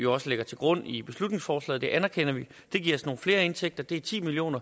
også ligger til grund i beslutningsforslaget og det anerkender vi det giver så flere indtægter det er ti million